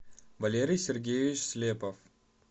валерий сергеевич слепов